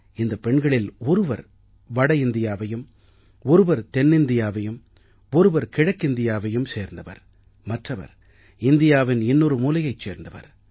இந்தப் பெண்களில் ஒருவர் வட இந்தியாவையும் ஒருவர் தென்னிந்தியாவையும் ஒருவர் கிழக்கிந்தியாவையும் சேர்ந்தவர் மற்றவர் இந்தியாவின் இன்னொரு மூலையைச் சேர்ந்தவர்